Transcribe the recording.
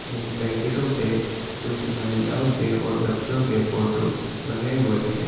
इन पैकेटों पे कुछ महिलओं के और बच्चों के फोटो बने हुए हैं।